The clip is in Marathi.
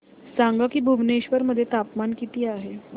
सांगा की भुवनेश्वर मध्ये तापमान किती आहे